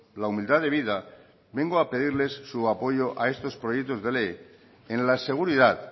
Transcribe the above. la humildad debida vengo a pedirles su apoyo a estos proyectos de ley en la seguridad